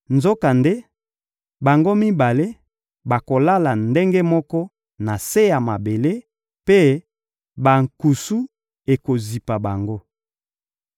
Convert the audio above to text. Nzokande, bango mibale bakolala ndenge moko na se ya mabele, mpe bankusu ekozipa bango.